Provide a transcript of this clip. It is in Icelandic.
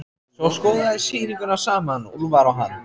Svo skoða þeir sýninguna saman, Úlfar og hann.